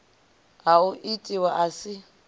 ha o itiwa a si